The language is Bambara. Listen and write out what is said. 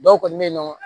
Dɔw kɔni bɛ yen nɔ